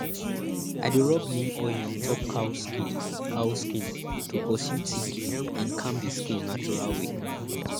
i dey rub neem oil on top cow skin cow skin to pursue tick and calm the skin natural way